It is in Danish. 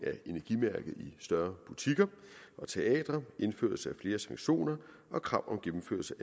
større butikker og teatre indførelse af flere sanktioner og krav